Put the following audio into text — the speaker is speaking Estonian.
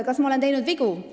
Kas ma olen teinud vigu?